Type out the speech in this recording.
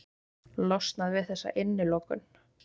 Losnað við þessa innilokun.